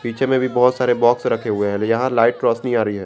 पीछे में भी बहोत सारे बॉक्स रखे हुए हैं यहां लाइट रोशनी आ रही है।